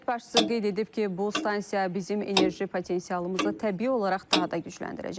Dövlət başçısı qeyd edib ki, bu stansiya bizim enerji potensialımızı təbii olaraq daha da gücləndirəcək.